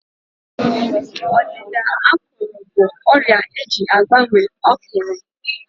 Ọdịda ákụ̀rụ̀ bụ ọrịa eji agbanwe ákụ̀rụ̀.